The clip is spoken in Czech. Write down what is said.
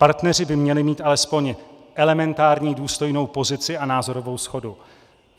Partneři by měli mít alespoň elementární důstojnou pozici a názorovou shodu.